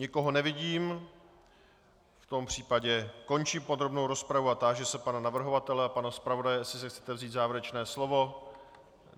Nikoho nevidím, v tom případě končím podrobnou rozpravu a táži se pana navrhovatele a pana zpravodaje, jestli si chcete vzít závěrečné slovo.